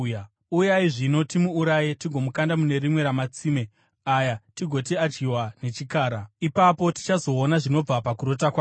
Uyai zvino timuuraye tigomukanda mune rimwe ramatsime aya tigoti akadyiwa nechikara. Ipapo tichazoona zvinobva pakurota kwake.”